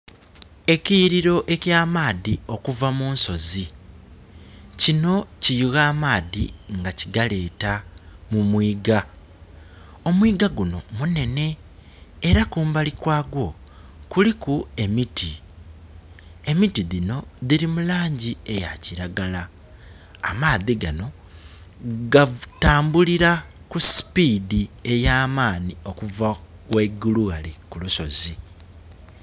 Ekiyiriro ekya maadhi okuva munsozi. Kino kiyugha amaadhi nga kigaleeta mumwigha. Omwigha gunho munhenhe, era kumbali kwagwo kuliku emiti. Emiti dhino dhili mu laangi eya kiragala. Amaadhi gano gatambulila ku speed ey'amaanhi okuva ghaigulu ghale ku lusozi.